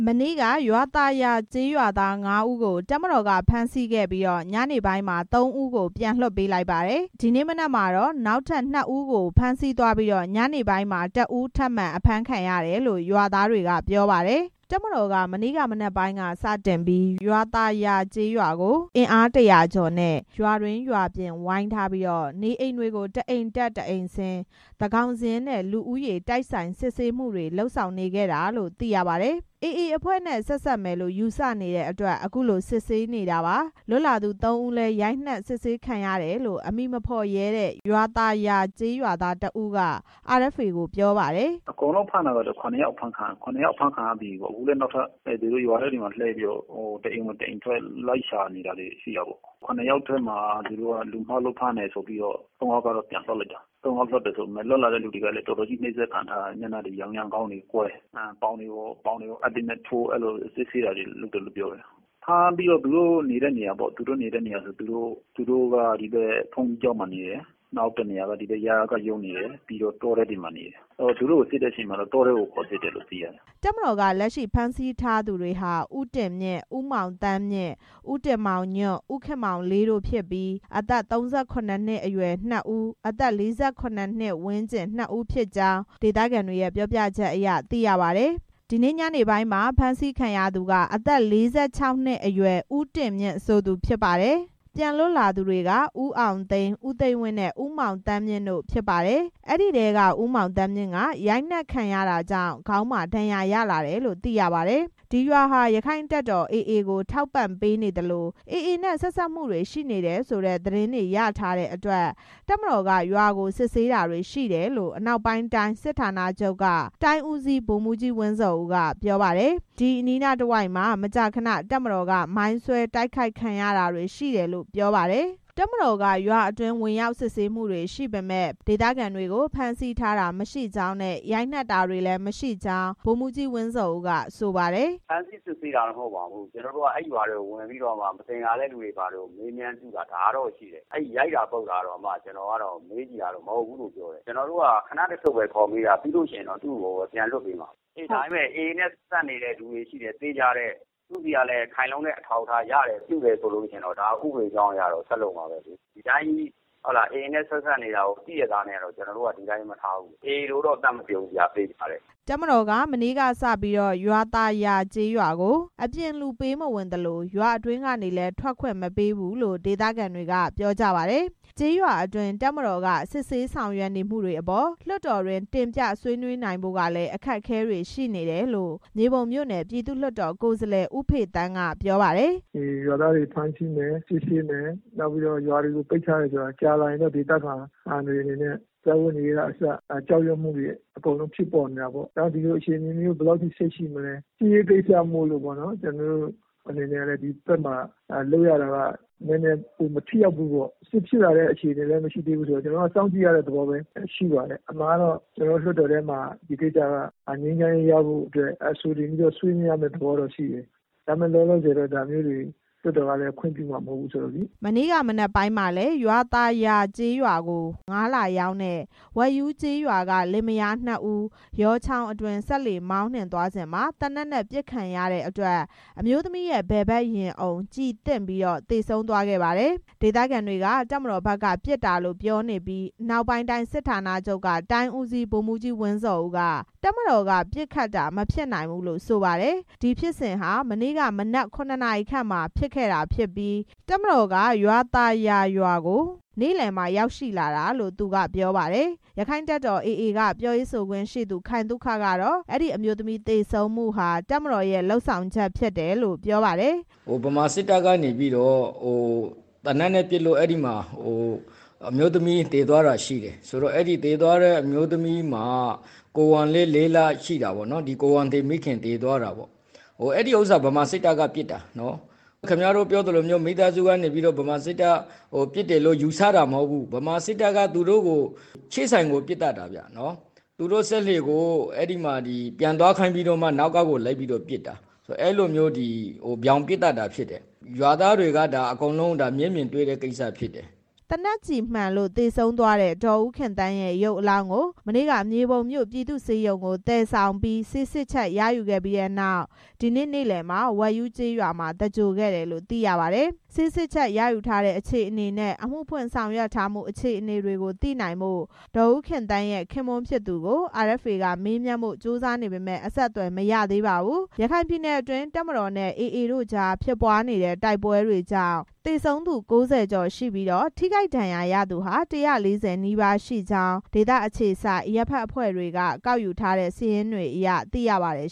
မနေ့က ရွာသာယာ ကျေးရွာသား ငါးဦးကို တပ်မတော်က ဖမ်းဆီးခဲ့ပြီး ညနေပိုင်းမှာ သုံးဦးကို ပြန်လွှတ်ပေးလိုက်တယ်၊ ဒီနေ့ မနက်မှာတော့ နောက်ထပ် နှစ်ဦးကို ဖမ်းဆီးသွားပြီး ညနေပိုင်းမှာ တစ်ဦး ထပ်မံအဖမ်းခံရတယ်လို့ ရွာသားတွေက ပြောပါတယ်။ တပ်မတော်က မနေ့က မနက်ပိုင်းက စတင်ပြီး ရွာသာယာကျေးရွာကို အင်အား ၁၀၀ ကျော်နဲ့ ရွာတွင်းရွာအပြင် ဝိုင်းထားပြီး နေအိမ်တွေကို တစ်အိမ်တက် တစ်အိမ်ဆင်း သန်းခေါင်စာရင်းနဲ့ လူဦးရေ တိုက်ဆိုင်စစ်ဆေးမှုတွေ လုပ်ဆောင်နေခဲ့တာလို့ သိရပါတယ်။ AA အဖွဲ့နဲ့ ဆက်စပ်မယ်လို့ ယူဆရတဲ့အတွက် အခုလို စစ်ဆေးနေတာပါ။ လွတ်လာတဲ့ သုံးဦးလည်း ရိုက်နှက်စစ်ဆေးခံခဲ့ရတယ်လို့ အမည်မဖော်ရဲတဲ့ ရွာသာရွာကျေးရွာသား တစ်ဦးက RFA ကိုပြောပါတယ်။ “အကုန်လုံးအဖမ်းခံရတာအခုဆိုရင် ခုနှစ်ယောက် အဖမ်းခံရတယ် ရွာထဲကိုဝင်ပြီးတော့ တစ်အိမ်ဝင်တစ် အိမ်ထွက်လိုက်ရှာနေတယ်။ ခုနှစ်ယောက်မှာ လူမှားလို့ဖမ်းတယ်ဆိုပြီးတော့ သုံးယောက်တော့ပြန်လွှတ် ပေးလိုက်တယ်။ လွတ်လာတဲ့သူတွေလည်း တော်တော်ကြီး နှိပ်စက်ခံထားရတယ်။ မျက်နှာတွေရောင်ရမ်း၊ ခေါင်းတွေကွဲ၊ ပေါင်တွေကို အပ်တွေနဲ့ထိုး အဲဒီလိုစစ်ဆေးတာတွေလုပ်တယ်။ ဖမ်းပြီးတော့ သူတို့နေတဲ့နေရာပေါ့ သူတို့က ဒီဘက်ဘုန်းကြီးကျောင်းမှာ နေတယ်။ နောက် ရယကရုံးမှာနေတယ်။ နောက်တောထဲမှာ နေတယ်။ သူတို့ကိုစစ်တဲ့အချိန်မှာတော့ တောထဲမှာခေါ်စစ်တယ်” တပ်မတော်က လက်ရှိဖမ်းဆီးထားသူတွေဟာ ဦးတင်မြင့်၊ ဦးမောင်သန်းမြင့်၊ ဦးတင်မောင်ညွန့်၊ ဦးခင်မောင်လေးတို့ ဖြစ်ပြီး အသက် ၃၇ နှစ်အရွယ် နှစ်ဦး၊ အသက် ၄၇ ဝန်းကျင် နှစ်ဦးဖြစ်ကြောင်း ဒေသခံတွေရဲ့ ပြောပြချက်အရ သိရပါတယ်။ ဒီနေ့ညနေပိုင်းမှာ အဖမ်းခံရသူက အသက် ၄၆ နှစ်အရွယ် ဦးတင်မြင့် ဆိုသူဖြစ်ပါတယ်။ ပြန်လွတ်လာသူတွေက ဦးအောင်သိန်း၊ ဦးသိန်းဝင်းနဲ့ ဦးမောင်သန်းမြင့် တို့ ဖြစ်ပါတယ်။ အဲဒီထဲက ဦးမောင်သန်းမြင့်က ရိုက်နှက်ခံရတာကြောင့် ခေါင်းမှာ ဒဏ်ရာရလာတယ်လို့ သိရပါတယ်။ ဒီရွာဟာ ရက္ခိုင့်တပ်တော် AA ကို ထောက်ပံ့ပေးနေသလို AA နဲ့ ဆက်စပ်မှုတွေရှိနေတယ်ဆိုတဲ့ သတင်းတွေ ရထားတဲ့အတွက် တပ်မတော်ကရွာကို စစ်ဆေးတာရှိတယ်လို့ အနောက်ပိုင်းတိုင်းစစ်ဌာနချုပ်က တိုင်းဦးစီး ဗိုလ်မှူးကြီး ဝင်းဇော်ဦးက ပြောပါတယ်။ ဒီအနီးနားတဝိုက်မှာ မကြာခဏ တပ်မတော်က မိုင်းဆွဲ တိုက်ခိုက်ခံရတာတွေ ရှိတယ်လို့ ပြောပါတယ်။ တပ်မတော်က ရွာအတွင်း စစ်ဆေးမှုတွေရှိပေမယ့် ဖမ်းဆီးထားတာ မရှိကြောင်း ရိုက်နှက်တာတွေလည်း မရှိကြောင်း ဗိုလ်မှူးကြီး ဝင်းဇော်ဦးက ဆိုပါတယ်။ “ဖမ်းဆီးစစ်ဆေးတာတော့မဟုတ်ပါဘူး။ ကျွန်တော်တို့ကရွာထဲကို ဝင်ပြီးတော့ မသင်္ကာတဲ့သူတွေကို မေးမြန်းကြည့်တာ။ ရိုက်တာပုတ်တာတော့ ကျွန်တော်မေးကြည့်တာ မဟုတ်ဘူးလို့ ပြောတယ်။ ကျွန်တော်တို့က ခဏတစ်ဖြုတ်ပဲခေါ်မေးတာ ပြီးလို့ရှိရင် ပြန်လွှတ်မှာ။ ဒါပေမဲ့ AA နဲ့စပ်ဆက်နေတဲ့သူတွေ ရှိတယ်။ သူ့ဆီက ခိုင်လုံတဲ့အထောက်အထားတွေရတယ်ဆိုရင် ဥပဒေကြောင်းအရတော့ ဆက်လုပ်မှာပဲလေ။ ဒီတိုင်းတော့ AA နဲ့စပ်ဆက်နေတာကိုသိရဲ့သားနဲ့ ကျွန်တော်တို့က ဒီတိုင်းမထားဘူး။ AA လိုတော့သတ်မပစ်ဘူး သေချာတယ်” တပ်မတော်က မနေ့ကစပြီး ရွာသာယာကျေးရွာကို အပြင်လူ ပေးမဝင်သလို ရွာအတွင်းကနေလည်း ထွက်ခွင့်မပေးဘူးလို့ ဒေသခံတွေက ပြောပါတယ်။ ကျေးရွာတွေအတွင်း တပ်မတော်က စစ်ဆေးဆောင်ရွက်နေမှုတွေအပေါ် လွှတ်တော်အတွင်း တင်ပြဆွေးနွေးနိုင်ဖို့ကလည်း အခက်အခဲတွေ ရှိနေတယ်လို့ မြေပုံမြို့နယ် ပြည်သူ့လွှတ်တော် ကိုယ်စားလှယ် ဦးဖေသန်းက ပြောပါတယ်။ “ရွာသားတွေကို ဖမ်းဆီးမယ်၊ စစ်ဆေးမယ်။ ကြာလာရင်တော့ ဒေသခံတွေအနေနဲ့ စားဝတ်နေရေးကအစ ကြောက်ရွံ့တာတွေ ဖြစ်ပေါ်နေတာပေါ့။ ဒီလိုအခြေအနေမျိုး ဘယ်လောက်ထိ ဆက်ရှိမလဲစစ်ရေးကိစ္စမို့ ဒီဖက်မှာလုပ်ရတာက နဲနဲ မထိရောက်ဘူးပေါ့။ ကျွန်တော်တို့က စောင့်ကြည့်ရတဲ့သဘောပဲ။ အမှန်ကလွှတ်တော်ထဲမှာ ဒီကိစ္စက ငြိမ်းချမ်းရေးရဖို့အတွက် အဆိုတင်ပြီးတော့ ဆွေးနွေးရမယ့် သဘောတော့ရှိတယ်။ ဒါပေမဲ့ လောလောဆယ် လွှတ်တော်က ဒါမျိုးတွေခွင့်ပြုမှာ မဟုတ်သေးဘူး” မနေ့က မနက်ပိုင်းကလည်း ရွာသာယာကျေးရွာကို ငါးလာရောင်းတဲ့ ဝက်ရူးကျေးရွာက လင်မယားနှစ်ဦး ယောချောင်းအတွင်း စက်လှေမောင်းနှင်သွားစဉ်မှာ သေနတ်နဲ့ ပစ်ခတ်ခံရတဲ့အတွက် အမျိုးသမီးရဲ့ ဘယ်ဘက် ရင်အုံ ကျည်သင့်ပြီး သေဆုံးသွားခဲ့ပါတယ်။ ဒေသခံတွေက တပ်မတော်ဘက်က ပစ်တာလို့ ပြောနေကြပြီး အနောက်ပိုင်းတိုင်းစစ်ဌာနချုပ်က တိုင်းဦးစီး ဗိုလ်မှူးကြီး ဝင်းဇော်ဦးက တပ်မတော်က ပစ်ခတ်တာ မဖြစ်နိုင်ဘူးလို့ ဆိုပါတယ်။ အဲဒီဖြစ်စဉ်ဟာ မနေ့က မနက် ၇ နာရီခန့်မှာ ပေါ်ပေါက်ခဲ့တာဖြစ်ပြီး တပ်မတော်က ရွာသာယာရွာကို နေ့လယ်မှ ရောက်ရှိလာတာလို့ သူက ပြောပါတယ်။ ရက္ခိုင့်တပ်တော် AA က ပြောရေးဆိုခွင့်ရှိသူ ခိုင်သုခကတော့ အဲဒီအမျိုးသမီးသေဆုံးမှုဟာ တပ်မတော်ရဲ့ လုပ်ဆောင်ချက်လို့ ပြောပါတယ်။ “ဗမာစစ်တပ်ကနေပြီးတော့ သေနတ်နဲ့ပစ်လို့ အမျိုးသမီးသေသွားတာရှိတယ် ကိုယ်ဝန်လည်း လေးလ ရှိတာပေါ့။ အဲဒီဥစ္စာ ဗမာစစ်တပ်က သူတို့ကိုပစ်သတ်တာ။ မိသားစုက ယူဆတာမဟုတ်ဘူး။ သူတို့စက်လှေကို ပြန်သွားခိုင်းပြီးတော့ နောက်ကကို လိုက်ပစ်သတ်တာ။ ရွာသားတွေက မျက်မြင်သက်သေတွေ မြင်ကြတာဖြစ်တယ်” သေနတ်ကျည်မှန်လို့ သေဆုံးသွားတဲ့ ဒေါ်ဦးခင်သန်းရဲ့ ရုပ်အလောင်းကို မနေ့က မြေပုံမြို့ ပြည်သူ့ဆေးရုံကို သယ်ဆောင်ပြီး ဆေးစစ်ချက် ရယူခဲ့ပြီးနောက် ဒီနေ့ နေ့လယ်မှာ ဝက်ရူးကျေးရွာမှာ သင်္ဂြိုဟ်ခဲ့တယ်လို့ သိရပါတယ်။ ဆေးစစ်ချက်ရယူထားတဲ့ အခြေအနေနဲ့ အမှုဖွင့်ဆောင်ရွက်ထားမှု အခြေအနေတွေကို သိနိုင်ဖို့ ဒေါ်ဦးခင်သန်း ရဲ့ ခင်ပွန်းဖြစ်သူကို RFA က မေးမြန်းဖို့ ကြိုးပမ်းနေပေမယ့် အဆက်အသွယ်မရရှိသေးပါဘူး။ ရခိုင်ပြည်နယ်အတွင်း တပ်မတော်နဲ့ AA တို့ကြားဖြစ်ပွားနေတဲ့ တိုက်ပွားတွေကြောင့် သေဆုံးသူ ၉၀ ကျော်ရှိပြီး ထိခိုက်ဒဏ်ရာရရှိသူ ၁၄၀ နီးပါးရှိကြောင်း ဒေသအခြေစိုက် အရပ်ဘက်အဖွဲ့တွေက ကောက်ယူထားတဲ့ စာရင်းတွေအရ သိရပါတယ်